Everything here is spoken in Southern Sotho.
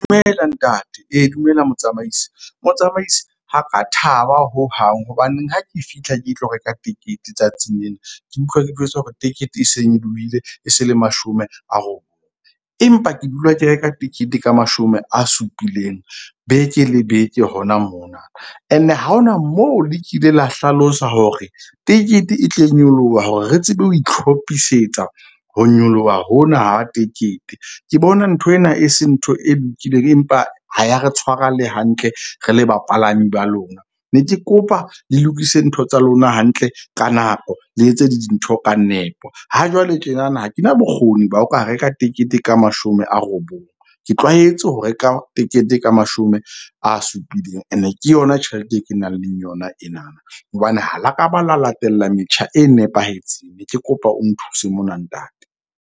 Dumela ntate, ee dumela motsamaisi. Motsamaisi ha ka thaba hohang. Hobaneng ha ke fihla ke tlo reka tikete tsatsing lena, ke utlwa ke jwetswa hore tekete e se nyoloile e se le mashome a . Empa ke dula ke reka tekete ka mashome a supileng beke le beke hona mona and-e ha hona moo le kile la hlalosa hore tekete e tle nyoloha hore re tsebe ho ihlophisetsa ho nyoloha hona ha tekete. Ke bona nthwena e se ntho e lokileng, empa ha ya re tshwara le hantle, re le bapalami ba lona. Ne ke kopa le lokise ntho tsa lona hantle ka nako le etse dintho ka nepo. Ha jwale tjenana ha kena bokgoni ba ho ka reka tekete ka mashome a robong. Ke tlwaetse ho reka tekete ka mashome a supileng, and-e ke yona tjhelete e ke nang le yona enana. Hobane ha la ka ba la latela metjha e nepahetseng. Ne ke kopa o nthuse mona ntate.